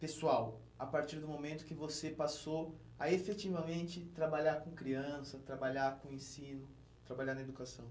Pessoal, a partir do momento que você passou a efetivamente trabalhar com criança, trabalhar com ensino, trabalhar na educação?